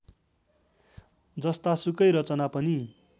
जस्तासुकै रचना पनि